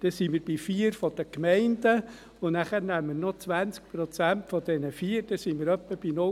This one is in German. Dann haben wir die 4 von den Gemeinden, und dann nehmen wir noch 20 Prozent von diesen 4. Dann sind wir etwa bei 0,8.